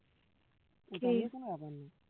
সেটা নিয়ে কোন ব্যাপার না